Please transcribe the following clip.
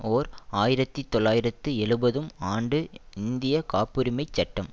ஓர் ஆயிரத்தி தொள்ளாயிரத்து எழுபதும் ஆண்டு இந்திய காப்புரிமைச் சட்டம்